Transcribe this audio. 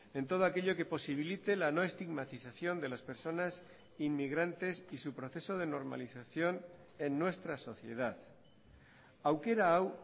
en todo aquello que posibilite la no estigmatización de las personas inmigrantes y su proceso de normalización en nuestra sociedad aukera hau